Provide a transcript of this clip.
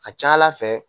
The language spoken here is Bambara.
A ca ala fɛ